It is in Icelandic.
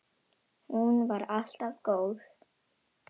Hún var alltaf góð.